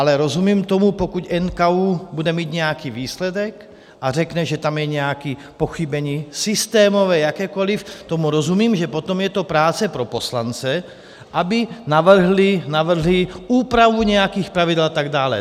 Ale rozumím tomu, pokud NKÚ bude mít nějaký výsledek a řekne, že tam je nějaké pochybení - systémové, jakékoli - tomu rozumím, že potom je to práce pro poslance, aby navrhli úpravu nějakých pravidel a tak dále.